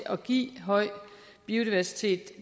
at give høj biodiversitet